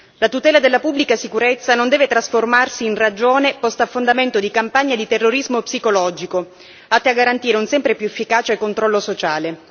La tutela della pubblica sicurezza non deve trasformarsi in ragione posta a fondamento di campagne di terrorismo psicologico, atte a garantire un sempre più efficace controllo sociale.